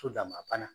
So da ma bana